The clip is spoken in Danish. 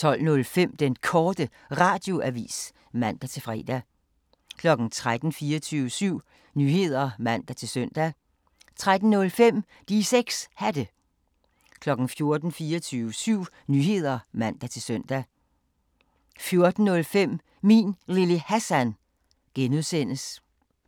12:05: Den Korte Radioavis (man-fre) 13:00: 24syv Nyheder (man-søn) 13:05: De 6 Hatte 14:00: 24syv Nyheder (man-søn) 14:05: Min Lille Hassan (G)